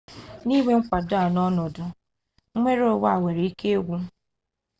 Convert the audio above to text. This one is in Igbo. n'inwe mkwado a n'ọnọdụ nnwereonwe a nwere ike ịgwụ